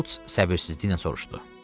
Şults səbirsizliklə soruşdu.